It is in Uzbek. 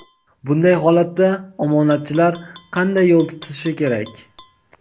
Bunday holatda omonatchilar qanday yo‘l tutishi kerak?.